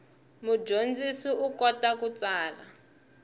mudyondzi u kota ku tsala